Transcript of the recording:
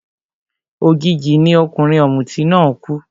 Òjijì ni ọkùnrin ọ̀mùtí náà kú